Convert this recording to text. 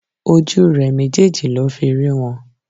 Ojú rè méjèèjì ló fi rí wọn